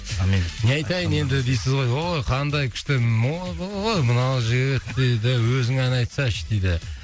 сонымен не айтайын енді дейсіз ғой ой қандай күшті ойбой мынау жігіт дейді өзің ән айтсаңшы дейді